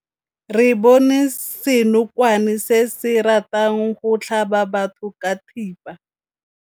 Re bone senokwane se se ratang go tlhaba batho ka thipa.